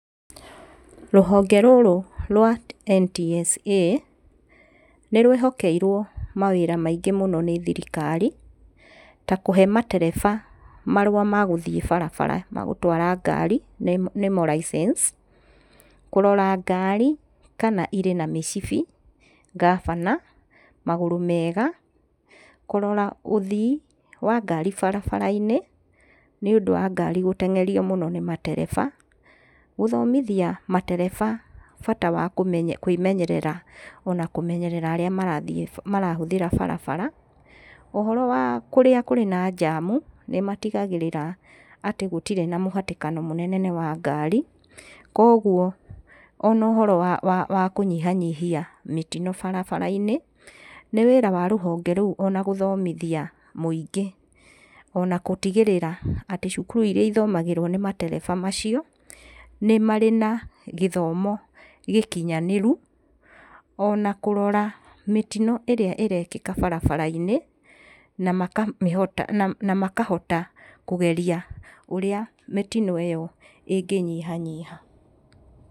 Rũhonge rũrũ rwa NTSA nĩ rwĩhokeirwo mawĩra maĩngĩ mũno nĩ thirikari ta kũhe matereba marũa ma gũthiĩ barabara ma gũtwara ngari nimo licence ,kũrora ngari kana irĩna mĩcibi , ngabana ,magũrũ mega, kũrora ũthii wa ngari barabara-inĩ nĩ ũndũ wa ngari gũteng'erio mũno nĩ matereba, gũthomithia matereba bata wa kwĩmenyerera ona kũmenyerera arĩa marahũthĩra barabara, ũhoro wa kũrĩa kũrĩ na njamu nĩmatigagĩrĩra atĩ gũtirĩ na mũhatĩkano mũnene wa ngari koguo ona ũhoro wakũnyihanihia mĩtino barabara-inĩ nĩ wĩra wa rũhonge rũu na gũthomithia mũingĩ ona gũtigĩrĩra ona cukuru irĩa ithomagĩrwo matereba macio nĩ marĩ na gĩthomo gĩkinyanĩru ona kũrora mĩtino ĩrĩa ĩrekĩka barabara-inĩ na makahota kũgeria ũrĩa mitino ĩyo ĩngĩ nyiha nyiha